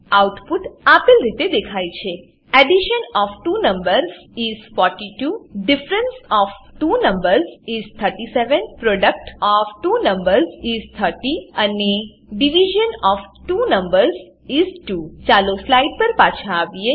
output આપેલ રીતે દેખાય છે addition of two numbers is 42 difference of two numbers is 37 product of two numbers is 30 અને division of two numbers is 2 ચાલો આપણી સ્લાઈડ પર પાછા આવીએ